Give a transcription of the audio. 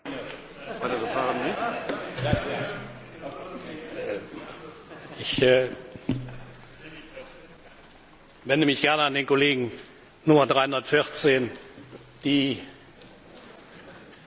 Ich wende mich gerne an den Kollegen Nummer 314. Die Referenden sind, soweit ich weiß, in bestimmten Ländern verbindlich.